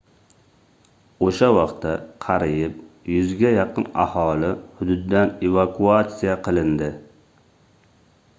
oʻsha vaqtda qariyb 100 ga yaqin aholi hududdan evakuatsiya qilindi